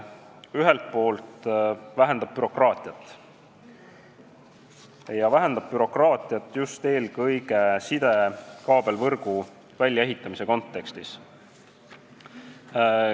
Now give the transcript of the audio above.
Ühelt poolt vähendab eelnõu bürokraatiat, seda eelkõige sidekaablivõrgu väljaehitamise kontekstis.